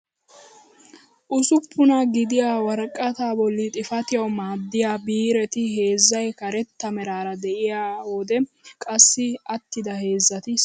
Usuppunaa gidiyaa woraqataa bolli xaafatiyaawu maaddiyaa biireti heezzay karetta meraara de'iyoo wode qassi attida heezzati salo meraara de'iyaageti biiran keehi daro milatees!